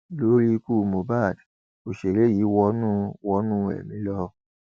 lórí ikú mohbak òṣèré yìí wọnú wọnú ẹmí lọ